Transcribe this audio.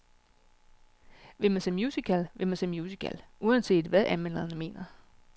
Vil man se musical, vil man se musical, uanset hvad anmelderne mener.